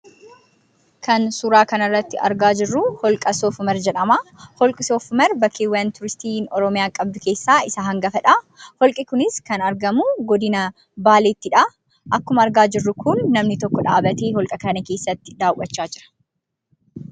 Kan suuraaa kana irratti argaa jirru holqa Sof-umar jedhama. Holqi Sof-umar bakkeeŵwan tuuristi Oromiyaa qabdu keessaa isa hangafadha. Holqi kunis kan argamu godina Baaleettidha. Akkuma argaa jirru kun namni tokko dhaabatee holqa kana keessatti daawwachaa jira.